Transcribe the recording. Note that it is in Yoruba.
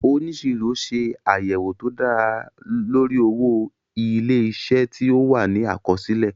Oníṣirọ ṣe àyẹ̀wò tó dára lórí owó ilé-isé tí ó wà ní àkọsílẹ̀